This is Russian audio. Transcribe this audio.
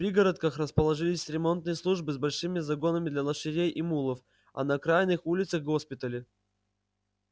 в пригородах расположились ремонтные службы с большими загонами для лошадей и мулов а на окраинных улицах госпитали